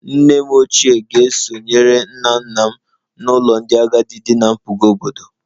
Nne m ochie ga-esonyere nna nna m n'ụlọ ndị agadi dị ná mpụga obodo